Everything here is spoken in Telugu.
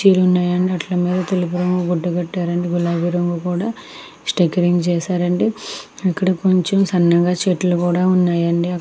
కుర్చీలు ఉన్నాయండి వాటికి తెలుపు రంగు గుడ్డ కట్టారు అండి అలాగే గులాబీ రంగు కూడా స్టికరింగ్ చేశారు అండి ఇక్కడ సన్నగా చెట్లు కూడా ఉన్నాయండి.